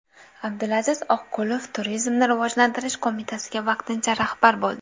Abdulaziz Oqqulov Turizmni rivojlantirish qo‘mitasiga vaqtincha rahbar bo‘ldi.